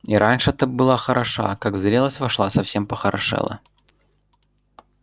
и раньше-то была хороша а как в зрелость вошла совсем похорошела